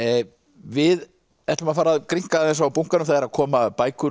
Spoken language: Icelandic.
við ætlum að fara að grynnka aðeins á bunkanum það eru að koma bækur